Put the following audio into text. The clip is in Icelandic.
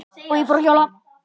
Og ég fór að hjóla.